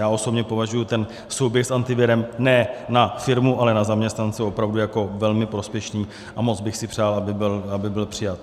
Já osobně považuji ten souběh s Antivirem ne na firmu, ale na zaměstnance opravdu jako velmi prospěšný a moc bych si přál, aby byl přijat.